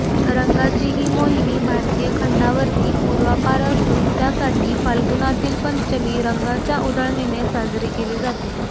रंगांची ही मोहिनी भारतीय खंडावरती पूर्वापार असून त्यासाठी फाल्गुनातील पंचमी रंगांच्या उधळणीने साजरी केली जाते